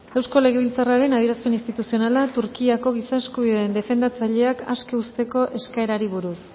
eusko legebiltzarraren adierazpen instituzionala turkiako giza eskubideen defendatzaileak aske uzteko eskaerari buruz